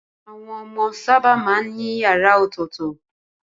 Àwọn ọmọ sábà máa ń ní yàrá ọ̀tọ̀tọ̀.